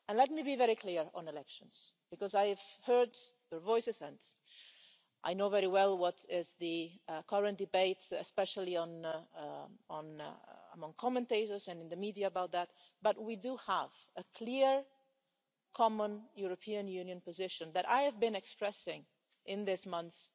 And let me be very clear on elections, because I have heard your voices and I know very well what is the current debate, especially among commentators and in the media about that, but we do have a clear, common European Union position that I have been expressing in these months,